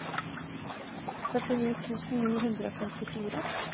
førtini tusen ni hundre og femtifire